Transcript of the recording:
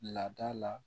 Laada la